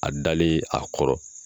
A dalen a kɔrɔ.